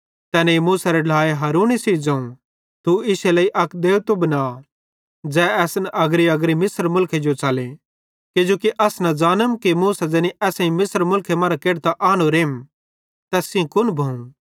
तैनेईं मूसेरे ढ्लाए हारूने सेइं ज़ोवं तू इश्शे लेइ अक देबतो बना ज़ै असन अग्रीअग्री मिस्र मुलखे जो च़ले किजोकि अस न ज़ानम कि मूसा ज़ैनी असां मिस्र मुलखे मरां केढतां आनोरेम तैस कुन भोवं